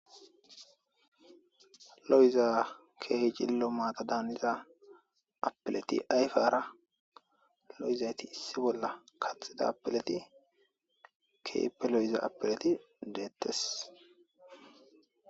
lo7iza keejillo maata daaniza apileti ayfaara lo7izayti issi bolla kaxida apileti keepe lo7iza apileti deettes